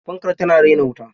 Fankar tana raina wuta.